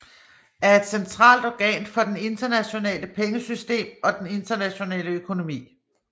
Er et centralt organ for det internationale pengesystem og den internationale økonomi